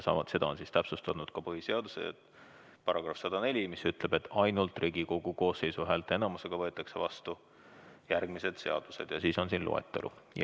Seda on täpsustatud ka põhiseaduse §-s 104, mis ütleb, et ainult Riigikogu koosseisu häälteenamusega võetakse vastu järgmised seadused, ja siis on loetelu.